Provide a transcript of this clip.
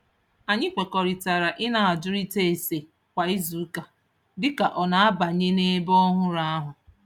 Anyị kwekọrịtara ị na-ajụrịta ase kwa izuụka dị ka ọ na-abanye n'ebe ọhụrụ ahụ.